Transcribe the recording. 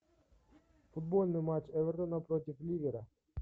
футбольный матч эвертона против ливера